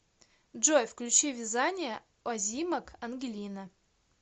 джой включи вязание озимок ангелина